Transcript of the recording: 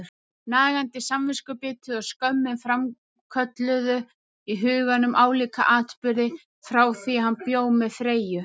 Nagandi samviskubitið og skömmin framkölluðu í huganum álíka atburði, frá því hann bjó með Freyju.